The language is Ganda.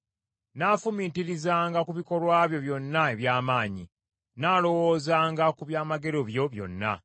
Nnaafumiitirizanga ku bikolwa byo byonna eby’amaanyi; nnaalowoozanga ku byamagero byo byonna.